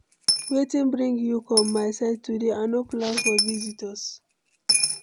Wetin bring you come my side today? I no plan for visitors.